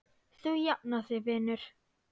Þú jafnar þig vinur.